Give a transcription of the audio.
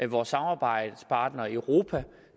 vores samarbejdspartnere i europa